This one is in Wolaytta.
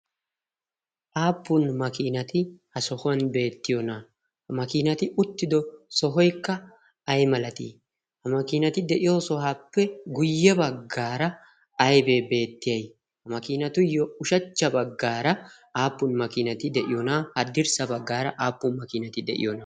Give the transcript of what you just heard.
Aappun makiinati ha sohuwan beettiyoonaaa? Ha makiinati uttido sohoikka ay malatii? Ha makiinati de'iyo sohaappe guyye baggaara aibee beettiyay? ha makiinatuyyo ushachcha baggaara aappun makiinati de'iyoonaa? Haddirssa baggaara aappun makiinati de'iyoona?